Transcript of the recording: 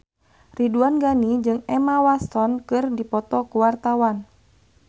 Ridwan Ghani jeung Emma Watson keur dipoto ku wartawan